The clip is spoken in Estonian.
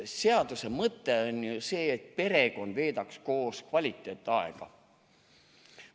Seaduse mõte on ju see, et perekond veedaks koos kvaliteetaega.